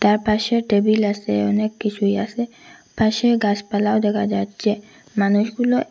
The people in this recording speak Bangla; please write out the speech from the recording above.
তার পাশে টেবিল আসে অনেক কিছুই আসে পাশে গাসপালাও দেখা যাচ্চে মানুষগুলো--